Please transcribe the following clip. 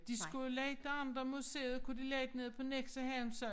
De skulle jo lægge de andet museet kunne de lægge nede på Nexø havn så